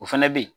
O fɛnɛ bɛ ye